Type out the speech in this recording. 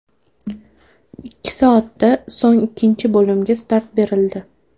Ikki soatda so‘ng ikkinchi bo‘limga start berildi.